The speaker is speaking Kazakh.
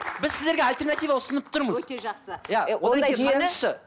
біз сіздерге альтернатива ұсынып тұрмыз өте жақсы